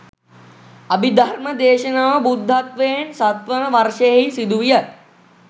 අභිධර්ම දේශනාව බුද්ධත්වයෙන් සත්වන වර්ෂයෙහි සිදුවිය.